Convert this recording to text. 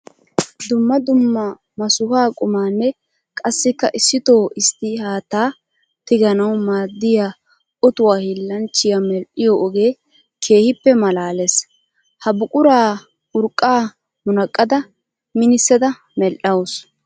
Dumma dumma masuha qumanne qassikka issitto issitti haatta tigganawu maadiya otuwa hiillanchchiya medhiyo ogee keehippe malaales. Ha buqura urqqa munaqqada minissada medhawussu.